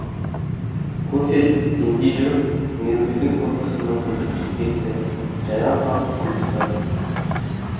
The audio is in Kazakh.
кофе демдей жүріп мейіргүлдің фотосына көзі түсіп кетті жайраң қағып күліп тұр